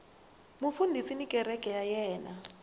mufundhisi na kereke ya yena